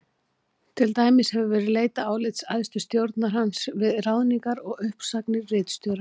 Til dæmis hefur verið leitað álits æðstu stjórnar hans við ráðningar og uppsagnir ritstjóra.